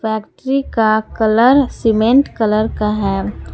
टंकी का colour cement colour का है।